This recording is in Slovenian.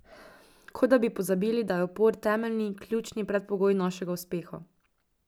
Kot da bi pozabili, da je upor temeljni, ključni predpogoj našega uspeha.